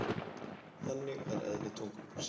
Þannig er eðli tungumálsins.